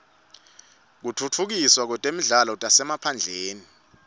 kutfutfukiswa kwetindzawo tasemaphandleni